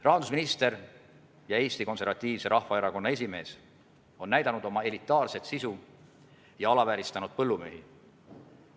Rahandusminister ja Eesti Konservatiivse Rahvaerakonna esimees on näidanud oma elitaarset sisu ja alavääristanud põllumehi.